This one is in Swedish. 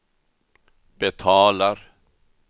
betalar